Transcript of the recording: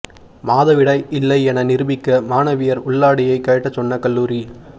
மாதவிடாய் இல்லை என நிரூபிக்க மாணவியர் உள்ளாடையை கழட்ட சொன்ன கல்லூரி